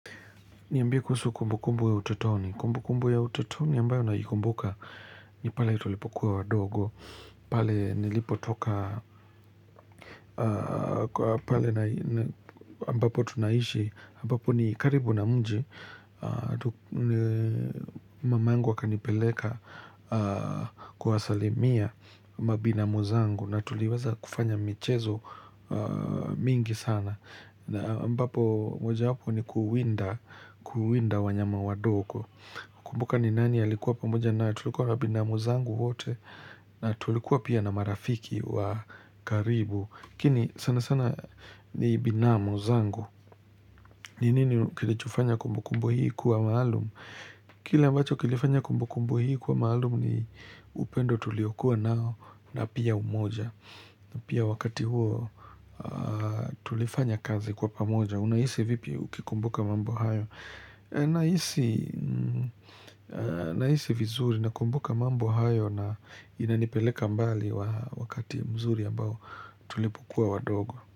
Niambie kuhusu kumbu kumbu ya utotoni. Kumbu kumbu ya utotoni ambayo naikumbuka ni pale tulipokuwa wadogo, pale nilipotoka, pale ambapo tunaishi, ambapo ni karibu na mji, mamangu akanipeleka kuwasalimia mabinamu zangu na tuliweza kufanya michezo mingi sana. Na ambapo mojawapo ni kuwinda, kuwinda wanyama wadogo kumbuka ni nani alikuwa pamoja na tulikuwa na binamu zangu wote na tulikuwa pia na marafiki wa karibu lakini sana sana ni binamu zangu. Ni nini kilichofanya kumbu kumbu hii kuwa maalumu Kile ambacho kilifanya kumbu kumbu hii kuwa maalumu ni upendo tuliokuwa nao na pia umoja. Pia wakati huo tulifanya kazi kwa pamoja. Unahisi vipi ukikumbuka mambo hayo. Nahisi vizuri nakumbuka mambo hayo na inanipeleka mbali wakati mzuri ambao tulipokuwa wadogo.